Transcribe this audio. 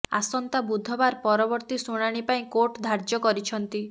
ଆସନ୍ତା ବୁଧବାର ପରବର୍ତ୍ତୀ ଶୁଣାଣି ପାଇଁ କୋର୍ଟ ଧାର୍ଯ୍ୟ କରିଛନ୍ତି